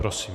Prosím.